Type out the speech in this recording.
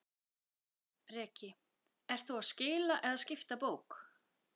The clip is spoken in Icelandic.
Breki: Ert þú að skila eða skipta bók?